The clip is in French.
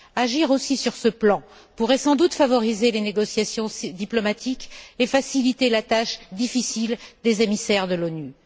Agir aussi sur ce plan pourrait sans doute favoriser les négociations diplomatiques et faciliter la tâche difficile des émissaires de l'ONU.